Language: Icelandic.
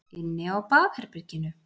Inni á baðherberginu.